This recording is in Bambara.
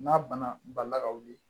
N'a banna balila ka wuli